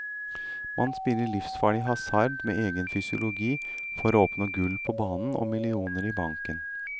Man spiller livsfarlig hasard med egen fysiologi for å oppnå gull på banen og millioner i banken.